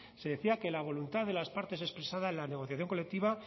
se decía que la voluntad de las partes expresada en la negociación colectiva